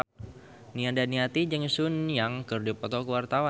Nia Daniati jeung Sun Yang keur dipoto ku wartawan